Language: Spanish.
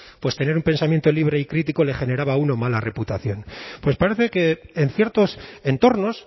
tener un pensamiento libre y crítico le generaba a uno mala reputación pues parece que en ciertos entornos